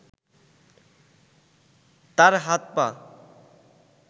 তার হাত-পা